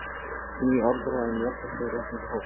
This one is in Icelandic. Ný orðræða um jafnrétti og réttindi hófst.